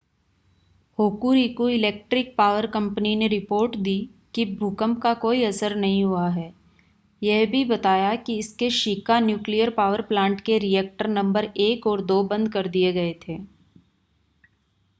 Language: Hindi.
होकूरिकू इलेक्ट्रिक पॉवर कंपनी ने रिपोर्ट दी कि भूकंप का कोई असर नहीं हुआ है यह भी बताया कि इसके शिका न्यूक्लियर पावर प्लांट के रिएक्टर नंबर 1 और 2 बंद कर दिए गए थे